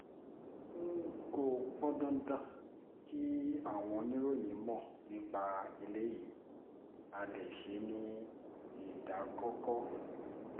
kò pọn dandan kí àwọn oníròyìn mọ̀ nípa eléyìí á lè ṣe é ní ìdákọ́ńkọ́